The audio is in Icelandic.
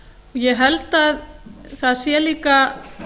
ég held að það sé líka